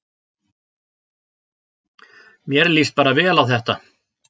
Mér líst bara vel á þetta